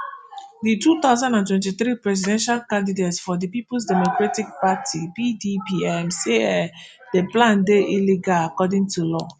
di two thousand and twenty-three presidential candidate for di peoples democratic party pdp um say um di plan dey illegal according to law